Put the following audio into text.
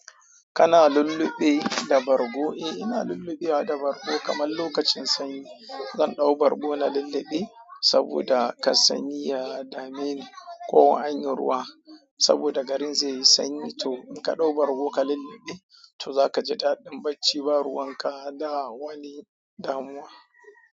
Kana lulluɓe da bargo? Eh, ina lulluɓwa da bargo kamar lokacin sanyi. Zan ɗau bargo na lulluɓe saboda kasani ya dameni ko anyi ruwa saboda garin zai yi sanyi to in ka ɗau bargo ka lulluɓe to zaka ji daɗin bacci ba ruwan ka da wani damuwa.